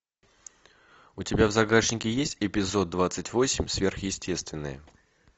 у тебя в загашнике есть эпизод двадцать восемь сверхъестественное